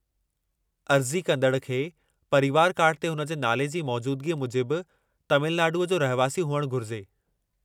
अर्ज़ी कंदड़ खे परिवर कार्ड ते हुन जे नाले जी मौजूदिगी मूजिबु तमिलनाडुअ जो रहिवासी हुअणु घुरिजे।